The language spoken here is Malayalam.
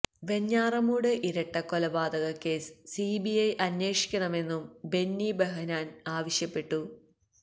വെഞ്ഞാറമൂട് ഇരട്ടക്കൊലപാതക കേസ് സിബിഐ അന്വേഷിക്കണമെന്നും ബെന്നി ബെഹനാന് ആവശ്യപ്പെട്ടു